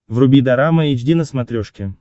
вруби дорама эйч ди на смотрешке